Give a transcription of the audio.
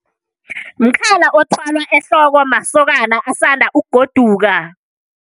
Mkhala othwalwa ehloko masokana asanda ukugoduka.